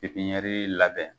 labɛn.